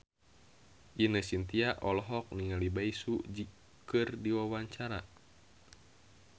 Ine Shintya olohok ningali Bae Su Ji keur diwawancara